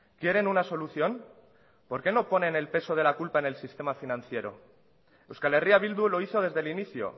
quieren una solución por qué no ponen el peso de la culpa en el sistema financiero euskal herria bildu lo hizo desde el inicio